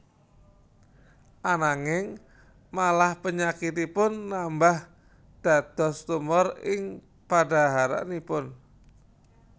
Ananging malah penyakitipun nambah dados tumor ing padhaharanipun